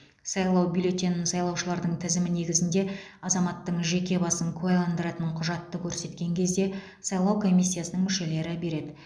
сайлау бюллетенін сайлаушылардың тізімі негізінде азаматтың жеке басын куәландыратын құжатты көрсеткен кезде сайлау комиссиясының мүшелері береді